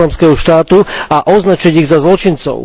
islamského štátu a označiť ich za zločincov.